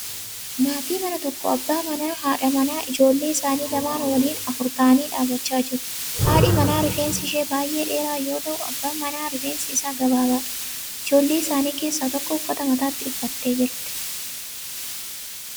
Maatii mana tokko abbaa manaa, haadha manaa fi ijoollee isaanii lamaan waliin afur ta'anii dhaabbachaa jiru. Haadhi manaa rifeensi ishee baay'ee dheeraa yoo ya'u abbaan manaa rifeensi isaa gabaabaadha. Ijoollee isaanii keessa tokko uffata mataatti uffattee jirti.